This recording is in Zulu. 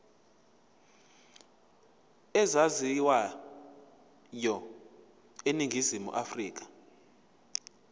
ezaziwayo eningizimu afrika